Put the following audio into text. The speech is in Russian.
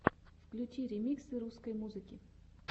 включи ремиксы русской музыки